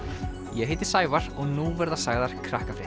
ég heiti Sævar og nú verða sagðar